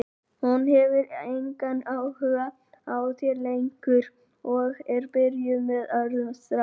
Hún hefur engan áhuga á þér lengur og er byrjuð með öðrum strák.